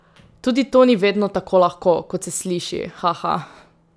Tudi to ni vedno tako lahko, kot se sliši, haha!